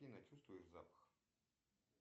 афина чувствуешь запах